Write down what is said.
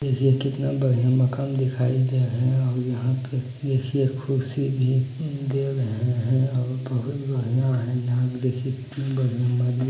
ये कितना बढ़िया मकान दिखाई दे रहे है और यहां पे देखिए कुर्सी भी दे रहे है